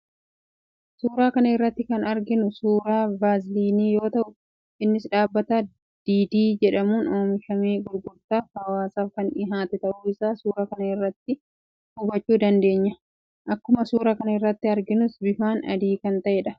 Suuraa kana irratti kan arginu suuraa Vaaziliinii yoo ta'u, innis dhaabbata 'Didi' jedhamuun oomishamee gurgurtaaf hawaasaaf kan dhiyaate ta'uu isaa suuraa kana irraa hubachuu dandeenya. Akkuma suuraa kana irraa arginus bifaan adii akka ta'edha.